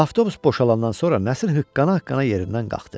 Avtobus boşalannan sonra Nəsir hıqqana-hıqqana yerindən qalxdı.